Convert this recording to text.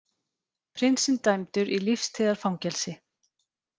Prinsinn dæmdur í lífstíðar fangelsi